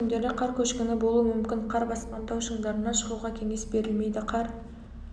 сәуірдің мен күндері қар көшкіні болуы мүмкін қар басқан тау шыңдарына шығуға кеңес берілмейді қар